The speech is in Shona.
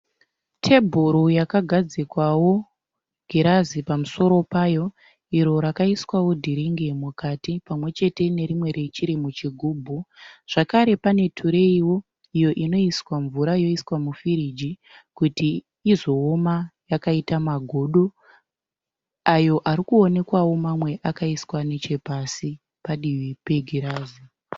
Tebhuro yekagadzikwawo girazi pamusoro payo iro rakaiswawo dhiringi mukati pamwe chete nerimwe richiri muchigubhu. Zvakare pane tureyiwo iyo inoiswa mvura yoiswa mufiriji kuti izooma yakaita magodo ayo arikuonekwawo mamwe akaiswa nechepasi padivi pegirazi.